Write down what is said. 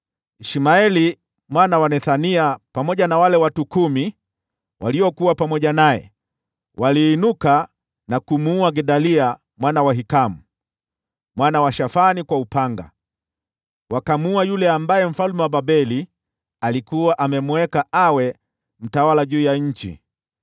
Ishmaeli mwana wa Nethania pamoja na wale watu kumi waliokuwa pamoja naye waliinuka na kumuua Gedalia mwana wa Ahikamu mwana wa Shafani kwa upanga, wakamuua yule ambaye mfalme wa Babeli alikuwa amemteua awe mtawala wa nchi.